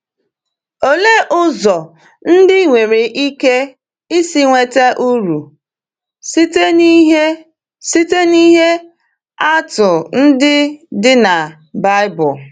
Olee ụzọ ndị i nwere ike isi nweta uru site n’ihe site n’ihe atụ ndị dị na Baịbụl?